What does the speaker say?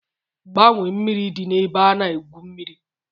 Gbanwee mmiri dị n'ebe a na-egwu mmiri!